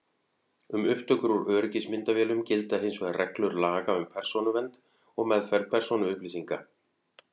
Um upptökur úr öryggismyndavélum gilda hins vegar reglur laga um persónuvernd og meðferð persónuupplýsinga.